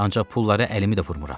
Ancaq pulları əlimə də vurmıram.